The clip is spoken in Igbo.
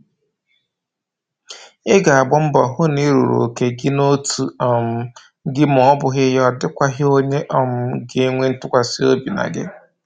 Ị ga-agba mbọ hụ na Ị rụrụ oke gị n'otu um gị ma ọbụghị ya ọdịkwaghị onye um ga-enwe ntụkwasị obi na gị